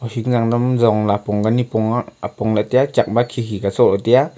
ohing zangnam zong apong ka nipong a-apong lahe taiya chak ma khikhi ka soh lahe taiya.